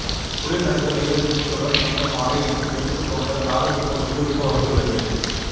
குளிர் நடுக்கம் எய்தத் துன்பத்துடன் வந்த மாலை எனக்கு வெறுப்புத் தோன்ற காதல் துன்பம் மிகுவிக்க வந்துள்ளது